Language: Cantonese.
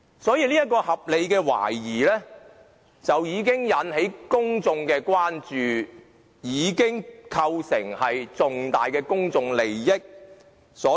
因此，這項合理的懷疑已經引起公眾的關注，構成重大公眾利益。